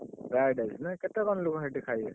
Fried rice ନା କେତେ କଣ ଲୋକ ସେଇଠି ଖାଇବେ?